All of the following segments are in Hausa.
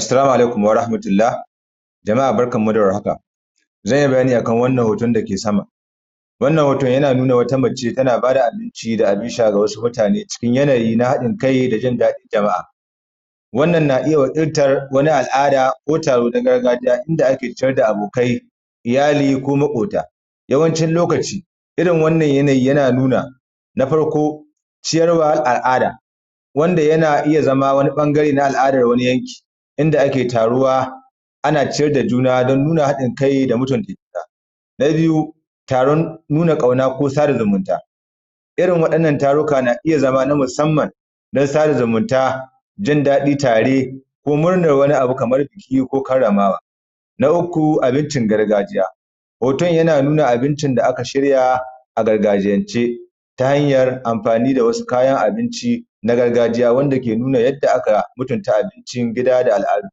Assalamu alaikum warahmatullah, jama'a barkan mu da war haka, zan yi bayani a kan wannan hoton da ke sama, wannan hoto yana nuna wata mace tana ba da abinci da abun sha ga wasu mutane cikin yanayi na haɗin kai da jin daɗin jama'a. Wannan na iya wakiltan wani wani al’ada ko taro na gargajiya, inda ake ciyar da abokai, iyali ko maƙota. Yawancin lokaci irin wannan lokaci yana nuna, na farko ciyarwan al’ada, wanda yana iya zama wani ɓangare na al’adan wni yanki, Inda ake taruwa ana ciyar da juna don nuna haɗin kai da kuma mutunta juna. Na biyu taron nuna ƙauna ko sada zumunta. Irin waɗannan taruka na iya zama na musamman na sada zumunta, jin daɗi tare ko murnar wani abu kamar buki ko karramawa. Na uku abincin gargajiya, hoton yana nuna abincin da aka shirya a gargajiyance ta hanyar amfani da wasu kayan abinci na gargajiya wanda ke nuni yadda aka mutunta abincin gida da al’adu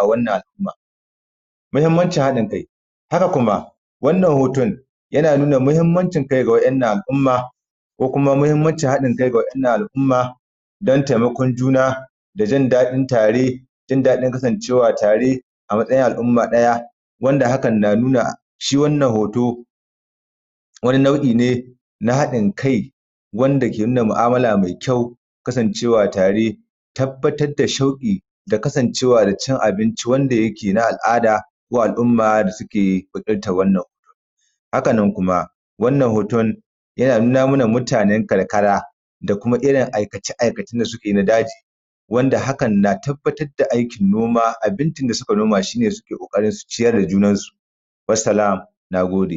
a wannan al’umma. Muhimmancin haɗin kai. Haka kuma wannan hoton yana nuna mahimmanci haɗin kai ga waɗannan al’umma ko kuma mahimmancin haɗin kai ga wadannan al’umma don taimakon juna da jin daɗin kasancewa tare a matsayin al’umma ɗaya. Wanda hakan na nuna shi wannan hoto wani nau'i ne na haɗin kai, wanda ke nuna mu’amala mai kyau, kasancewa tare, tabbatar da shauƙi da kasancewa da cin abinci wanda yake na al’ada ko al’umma da suke wakiltan wannan wuri. Haka nan kuma wannan hoton yana nuna mana mutanen karkara da kuma irin aikace-aikacen da suke yi na daji wanda hakan na tabbatar da aikin noman abincin da suka noma shine suke ƙoƙarin su ciyar da junan su. wassalam na gode.